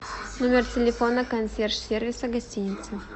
номер телефона консьерж сервиса гостиницы